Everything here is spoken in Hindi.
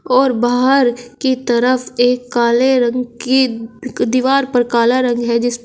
और बाहर की तरफ एक काले रंग की दीवार पर काला रंग है जिस पर--